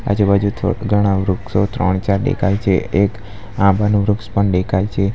આજુ-બાજુ થો ઘણા વૃક્ષો ત્રણ-ચાર દેખાય છે એક આંબાનું વૃક્ષ પણ દેખાય છે.